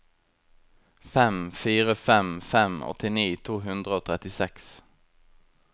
fem fire fem fem åttini to hundre og trettiseks